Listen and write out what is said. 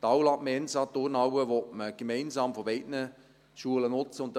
Die Aula, die Mensa, die Turnhalle, die gemeinsam von beiden Schulen genutzt werden;